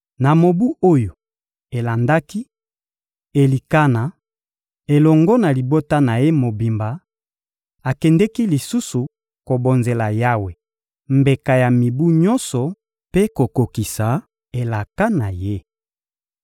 Na mobu oyo elandaki, Elikana, elongo na libota na ye mobimba, akendeki lisusu kobonzela Yawe mbeka ya mibu nyonso mpe kokokisa elaka na ye.